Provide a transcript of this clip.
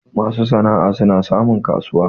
masu sana'a suna samun kasuwa